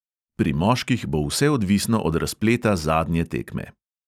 Pri moških bo vse odvisno od razpleta zadnje tekme.